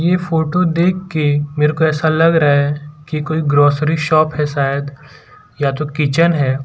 ये फोटो देखके मेरे को ऐसा लग रहा है कि कोई ग्रॉसरी शॉप है शायद या तो किचन है।